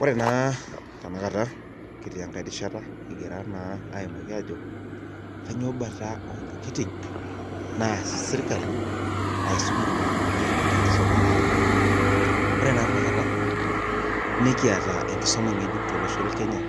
Ore naa tenakata kitii enkae rishata kigira aaimaki ajo kainyioo Bata ontokitin naas sirkali, aisum olmalimuni tenkisuma etaata. lre naa tenakata, nikiata enkisuma ngejuk tolosho le Kenya